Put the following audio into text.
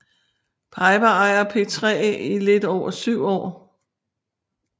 Piper ejer P3 i lidt over 7 år